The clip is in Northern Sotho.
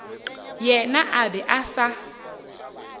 yena a be a sa